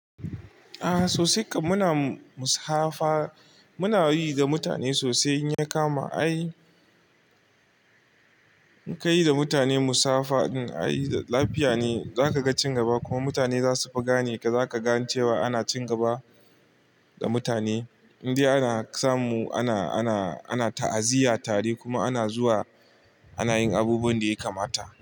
A'a sosai kam muna musafaha muna yi da mutane sosai in ya kama ai in ka yi da mutane musafaha in a yi lafiya ne za ka ga cin gaba kuma mutane za su fa gane ka za ka ga cewa ana cin gaba da mutane indai ana samu ana ta'aziyya tare kuma ana zuwa ana yin abubuwan da ya kamata.